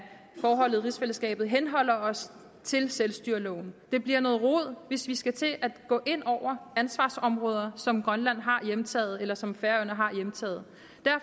af forholdet i rigsfællesskabet henholder os til selvstyreloven det bliver noget rod hvis vi skal til at gå ind over ansvarsområder som grønland har hjemtaget eller som færøerne har hjemtaget